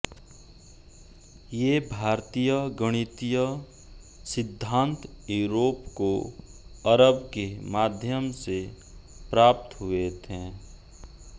ये भारतीय गणितीय सिद्धान्त यूरोप को अरब के माध्यम से प्राप्त हुए थे